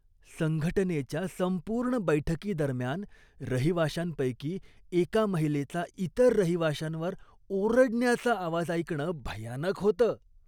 संघटनेच्या संपूर्ण बैठकीदरम्यान रहिवाशांपैकी एका महिलेचा इतर रहिवाशांवर ओरडण्याचा आवाज ऐकणं भयानक होतं.